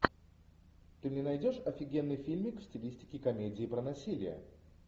ты мне найдешь офигенный фильмик в стилистике комедии про насилие